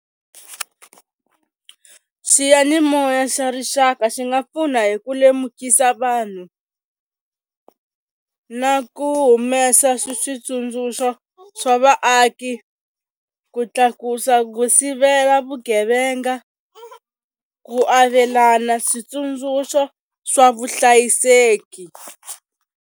Xiyanimoya xa rixaka xi nga pfuna hi ku lemukisa vanhu na ku humesa switsundzuxo swa vaaki ku tlakusa ku sivela vugevenga ku avelana switsundzuxo swa vuhlayiseki.